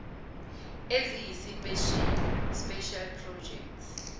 eziyisipesheli special projects